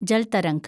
Jal Tarang